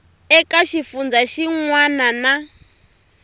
eka xifundzha xin wana na